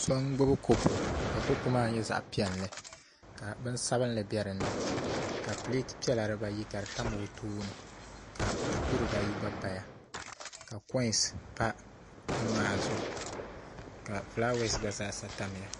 So n gbubi kopu ka kopu maa nyɛ zaɣ piɛlli ka bini sabinli bɛ dinni ka pileet dibayi ka di tam o tooni ka buku dibayi gba paya ka koins pa buni maa zuɣu ka fulaawaasi gba zaasa tamya